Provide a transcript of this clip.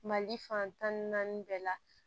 Mali fan tan ni naani bɛɛ la